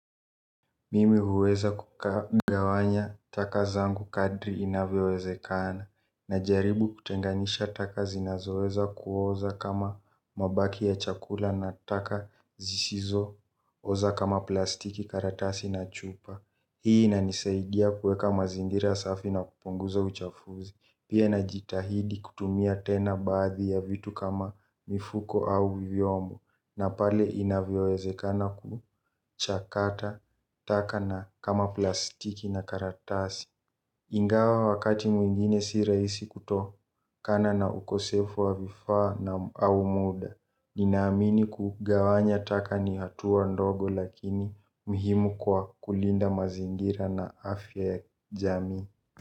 Mimi huweza kukagawanya taka zangu kadri inavyowezekana najaribu kutenganisha taka zinazoweza kuoza kama mabaki ya chakula na taka zisizo oza kama plastiki karatasi na chupa. Hii inanisaidia kueka mazingira safi na kupunguza uchafuzi. Pia na jitahidi kutumia tena bathi ya vitu kama mifuko au viviomu. Na pale inavyoezekana kuchakata taka na kama plastiki na karatasi. Ingawa wakati mwingine si raisi kutoa kana na ukosefu wa vifa na au muda. Ninaamini kugawanya taka ni hatua ndogo lakini muhimu kwa kulinda mazingira na afya jami.